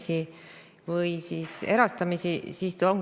Samas, riik jätkab samamoodi dividendide väljavõtmist ja dotatsiooni ei ole suurendanud.